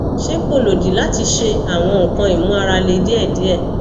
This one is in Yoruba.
se ko lodi lati she awon nkan imu ara le diedie